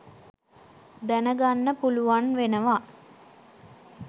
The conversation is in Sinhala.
දැනගන්න පුලුවන් වෙනවා.